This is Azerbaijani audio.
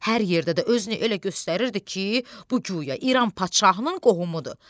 Hər yerdə də özünü elə göstərirdi ki, bu guya İran padşahının qohumudur.